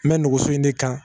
N bɛ nɛgɛso in de kan